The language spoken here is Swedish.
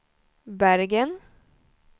Bergen